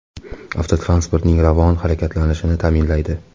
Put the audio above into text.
Avtotransportning ravon harakatlashini ta’minlaydi.